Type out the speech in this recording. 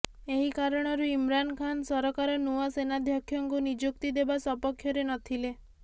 ଏହି କାରଣରୁ ଇମ୍ରାନ୍ ଖାନ୍ ସରକାର ନୂଆ ସେନାଧ୍ୟକ୍ଷଙ୍କୁ ନିଯୁକ୍ତି ଦେବା ସପକ୍ଷରେ ନଥିଲେ